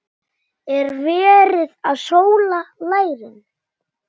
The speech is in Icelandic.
Er verið að sóla lærin?